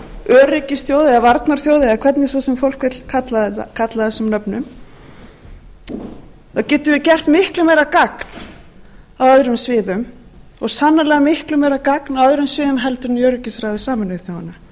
eða varnarþjóð eða hvernig svo sem fólk vill kalla það þessum nöfnum þá getum við gert miklu meira gagn á öðrum sviðum og sannarlega miklu meira gagn á öðrum sviðum heldur en í öryggisráði sameinuðu þjóðanna við